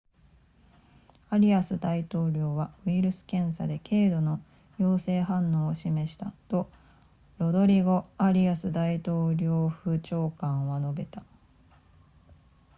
アリアス大統領はウイルス検査で経度の陽性反応を示したとロドリゴアリアス大統領府長官は述べた